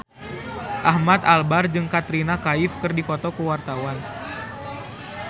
Ahmad Albar jeung Katrina Kaif keur dipoto ku wartawan